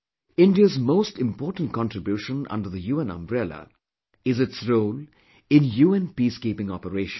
India's most important contribution under the UN umbrella is its role in UN Peacekeeping Operations